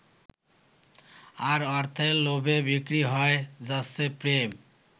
আর অর্থের লোভে বিক্রি হয়ে যাচ্ছে প্রেম।